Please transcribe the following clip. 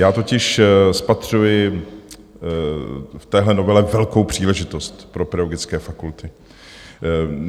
Já totiž spatřuji v téhle novele velkou příležitost pro pedagogické fakulty.